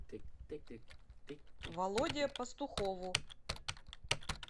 володе пастухову